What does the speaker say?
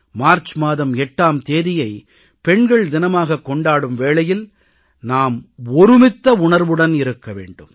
March மாதம் 8ஆம் தேதியை பெண்கள் தினமாகக் கொண்டாடும் வேளையில் நாம் ஒருமித்த உணர்வுடன் இருக்க வேண்டும்